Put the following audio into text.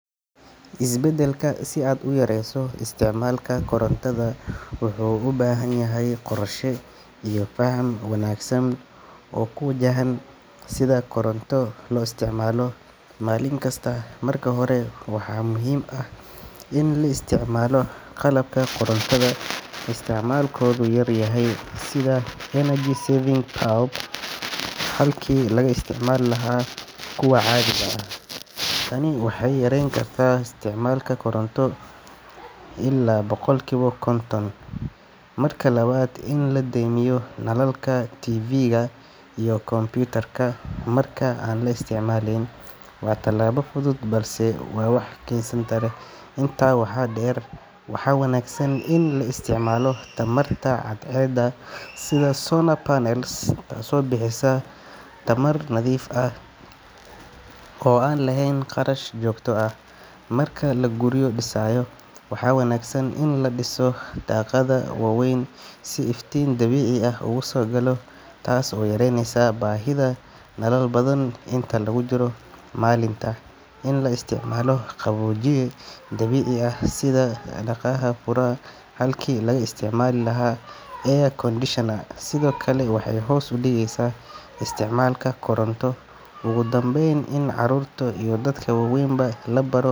Isbedelka si aad u yarayso isticmaalka korontada wuxuu u baahan yahay qorshe iyo faham wanaagsan oo ku wajahan sida koronto loo isticmaalo maalin kasta. Marka hore, waxaa muhiim ah in la isticmaalo qalabka korontada isticmaalkoodu yar yahay, sida energy-saving bulbs halkii laga isticmaali lahaa kuwa caadiga ah. Tani waxay yareyn kartaa isticmaalka koronto illaa boqolkiiba konton. Marka labaad, in la damiyo nalalka, TV-ga, iyo computer-ka marka aan la isticmaaleyn waa talaabo fudud balse wax weyn taraysa. Intaa waxaa dheer, waxaa wanaagsan in la isticmaalo tamarta cadceedda sida solar panels, taasoo bixisa tamar nadiif ah oo aan lahayn kharash joogto ah. Marka la guryo dhisayo, waxaa wanaagsan in la dhiso daaqado waaweyn si iftiin dabiici ah uga soo galo, taas oo yareyneysa baahida nalal badan inta lagu jiro maalinta. In la isticmaalo qaboojiye dabiici ah sida daaqadaha furma halkii laga isticmaali lahaa air conditioner sidoo kale waxay hoos u dhigeysaa isticmaalka koronto. Ugu dambeyn, in carruurta iyo dadka waaweynba la baro.